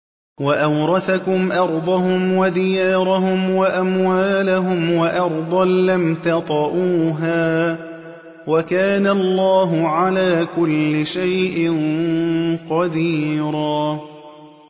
وَأَوْرَثَكُمْ أَرْضَهُمْ وَدِيَارَهُمْ وَأَمْوَالَهُمْ وَأَرْضًا لَّمْ تَطَئُوهَا ۚ وَكَانَ اللَّهُ عَلَىٰ كُلِّ شَيْءٍ قَدِيرًا